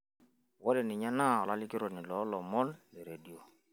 ore ninye naa olalikioroni loo ilomon te redio